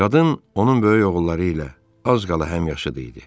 Qadın onun böyük oğulları ilə az qala həmyaşıdı idi.